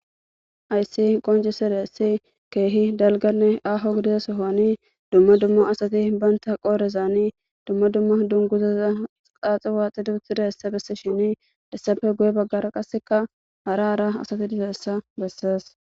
Hasi qoncidayisi kehi gitanne dalga gidida sohoni duma duma asati bantha qorezan duma duma dunguza xaxi waxishini hesappe guye bagara qaseka hara hara asati dizayisa besea